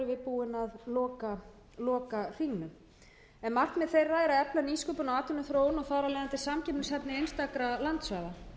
við búin að loka hringnum markmið þeirra er að efla nýsköpun og atvinnuþróun og þar af leiðandi samkeppnishæfni einstakra landsvæða